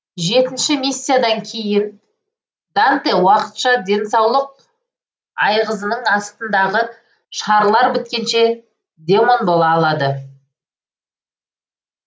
жетінші миссиядан кейін данте уақытша денсаулық айғызының астындағы шарлар біткенше демон бола алады